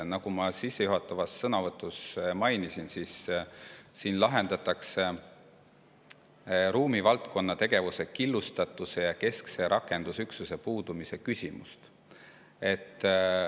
Nagu ma sissejuhatavas sõnavõtus mainisin, siin lahendatakse ruumivaldkonna tegevuse killustatuse ja keskse rakendusüksuse puudumise küsimust.